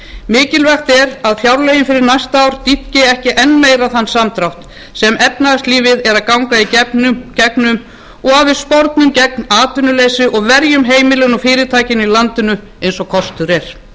mikilvægt er að fjárlögin fyrir næsta ár dýpki ekki enn meira þann samdrátt sem efnahagslífið er að ganga í gegnum og að við spornum gegn atvinnuleysi og verjum heimilin og fyrirtækin í landinu eins og kostur er